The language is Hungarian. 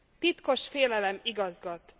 Titkos félelem igazgat.